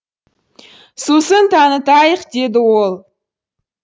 сұсын танытайық деді ол